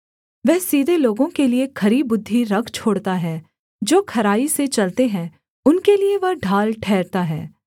वह सीधे लोगों के लिये खरी बुद्धि रख छोड़ता है जो खराई से चलते हैं उनके लिये वह ढाल ठहरता है